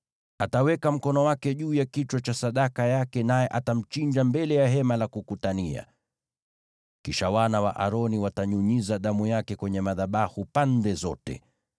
Ataweka mkono wake juu ya kichwa cha sadaka yake, naye atamchinja mbele ya Hema la Kukutania. Kisha wana wa Aroni watanyunyiza damu yake kwenye madhabahu pande zote.